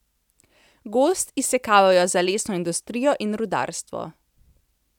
Gozd izsekavajo za lesno industrijo in rudarstvo.